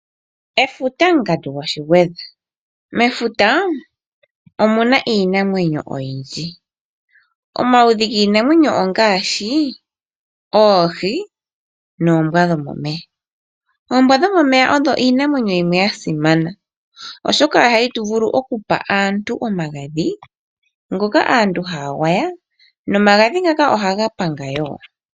Efuta ngandu ngwashingwedha, mefuta omuna iinamwenyo oyindji , omaludhi nginamwenyo ongashi, oohii noombwa dhomomeya, oombwa dhomomeya odho Iinamwenyo yimwe ya simana oshoka ohayi vulu okupa aantu omagadhi ngoka aantu hayangwaya nomagadhi ngaka oha gapanga wo.